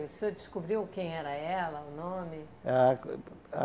O senhor descobriu quem era ela, o nome? Ah uh uh ah